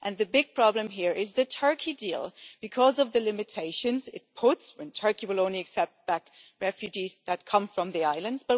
The big problem here is the Turkey deal, because of the limitations it puts when Turkey will only accept back refugees that come from the islands.